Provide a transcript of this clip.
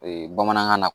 Ee bamanankan na